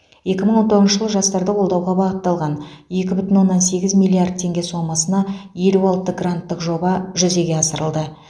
екі мың он тоғызыншы жылы жастарды қолдауға бағытталған екі бүтін оннан сегіз миллиард теңге сомасына елу алты гранттық жоба жүзеге асырылды